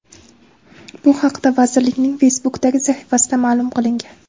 Bu haqda vazirlikning Facebook’dagi sahifasida ma’lum qilingan .